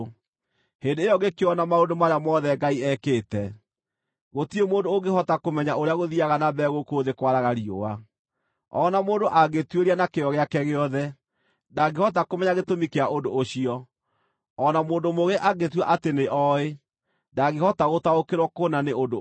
hĩndĩ ĩyo ngĩkĩona maũndũ marĩa mothe Ngai ekĩte. Gũtirĩ mũndũ ũngĩhota kũmenya ũrĩa gũthiiaga na mbere gũkũ thĩ kwaraga riũa. O na mũndũ angĩtuĩria na kĩyo gĩake gĩothe, ndangĩhota kũmenya gĩtũmi kĩa ũndũ ũcio. O na mũndũ mũũgĩ angĩĩtua atĩ nĩoĩ, ndangĩhota gũtaũkĩrwo kũna nĩ ũndũ ũcio.